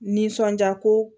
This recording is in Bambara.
Nisɔndiya ko